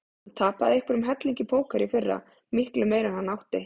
Hann tapaði einhverjum helling í póker í fyrra, miklu meira en hann átti.